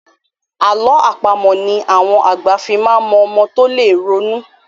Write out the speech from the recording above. Àlọ́ àpamọ̀ ni àwọn àgbà fí máa mọ ọmọ tó lè ronú.